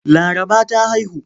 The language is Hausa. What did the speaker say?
Laraba ta haihu.